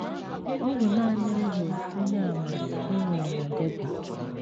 Ọ bụ nanị m bụ Onyeàmà e nwere na Derby.